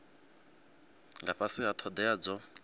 nga fhasi ha thodea dzo